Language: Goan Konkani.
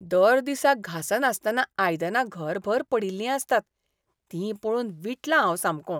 दर दिसा घासनासतना आयदनां घरभर पडिल्लीं आसतात तीं पळोवन विटलां हांव सामकों.